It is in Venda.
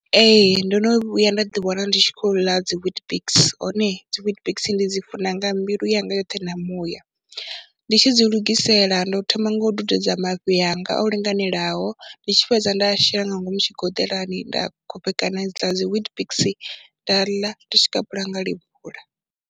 Ee ndo no vhuya nda ḓiwana ndi tshi khou ḽa dzi WeetBix hone dzi WeetBix ndi dzi funa nga mbilu yanga yoṱhe na muya, ndi tshi dzi lugisela ndo thoma nga u dudedza mafhi anga o linganelaho, ndi tshi fhedza nda shela nga ngomu tshigoḓelani, nda khophekana i dzi ḽa dzi WeetBix nda ḽa ndi tshi kapula nga lebula.